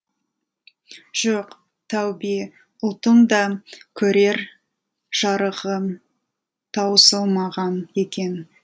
жоқ тәубе ұлттың да көрер жарығы таусылмаған екен